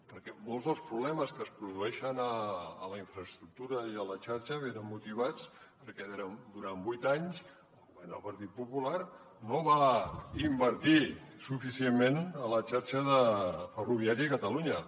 perquè molts dels problemes que es produeixen a la infraestructura i a la xarxa venen motivats perquè durant vuit anys el govern del partit popular no va invertir suficientment a la xarxa ferroviària a catalunya